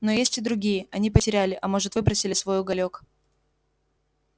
но есть и другие они потеряли а может выбросили свой уголёк